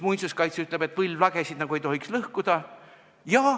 Muinsuskaitse ütleb, et võlvlagesid nagu ei tohiks seal lõhkuda.